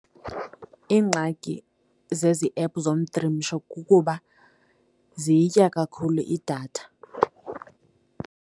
Iingxaki zezi ephu zomtrimisho kukuba ziyitya kakhulu idatha.